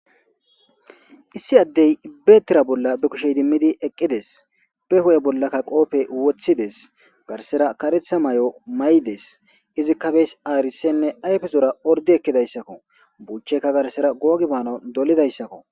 Issi addey ibbeetira bolla be kushey dimmidi eqqides be ho'e bollakka qoope wothides garsera karetha may'o maydes izikkabes aarisenne ayfezora ordi ekkidayssakko buuchchekka garsera googibaano dolidayssakko